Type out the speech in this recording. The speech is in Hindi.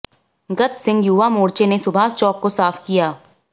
गत सिंह युवा मोर्चे ने सुभाष चौक को साफ किया